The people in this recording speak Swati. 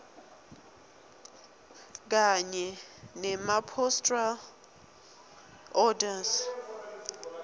kanye nemapostal orders